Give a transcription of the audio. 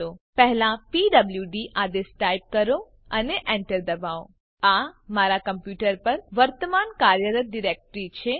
પહેલા પીડબ્લુડી આદેશ ટાઈપ કરો અને Enter દબાવો આ મારા કમ્પ્યુટર પર વર્તમાન કાર્યરત ડિરેક્ટરી છે